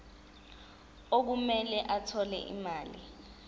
okumele athole imali